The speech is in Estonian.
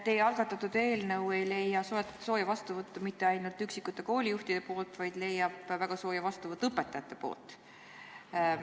Teie algatatud eelnõu ei leia sooja vastuvõttu mitte ainult üksikute koolijuhtide seas, vaid see leiab väga sooja vastuvõttu ka õpetajate seas.